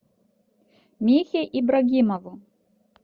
михе ибрагимову